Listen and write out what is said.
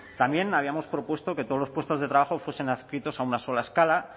también habíamos propuesto que todos los puestos de trabajo fuesen adscritos a una sola escala